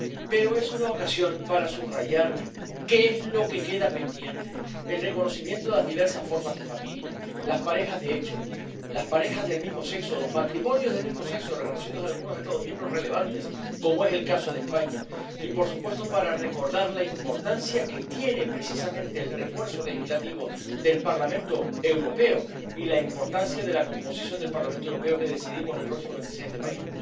Pero es una ocasión para subrayar qué es lo que queda pendiente —el reconocimiento de las diversas formas de familia, las parejas de hecho, las parejas del mismo sexo, los matrimonios del mismo sexo reconocidos en algunos Estados miembros relevantes, como es el caso de España— y, por supuesto, para recordar la importancia que tiene precisamente el refuerzo legislativo del Parlamento Europeo y la importancia de la composición del Parlamento Europeo que decidimos el próximo 26 de mayo.